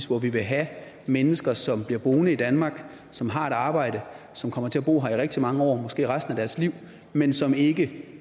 hvor vi vil have mennesker som bliver boende i danmark som har et arbejde som kommer til at bo her i rigtig mange år måske resten af deres liv men som ikke